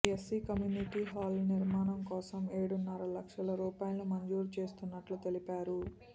SC community hall నిర్మాణం కోసం ఏడున్నర లక్షల రూపాయాలను మంజూరు చేస్తున్నట్లు తెలిపారు